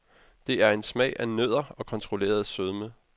Det er en smag af nødder og kontrolleret sødme.